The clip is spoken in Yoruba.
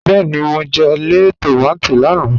Bẹẹ́ni, mo jẹ̀ lẹẹ̀ tomati lánà.